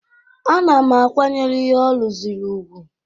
Ana m akwanyere ihe ọ rụzuru ùgwù